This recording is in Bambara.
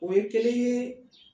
O ye kelen ye